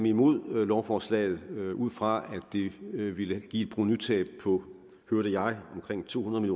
imod lovforslaget ud fra at det ville give et provenutab på hørte jeg omkring to hundrede